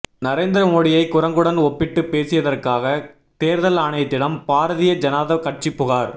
நரேந்தர மோடியை குரங்குடன் ஒப்பிட்டுப் பேசியதற்காக தேர்தல் ஆணையத்திடம் பாரதிய ஜனதா கட்சி புகார்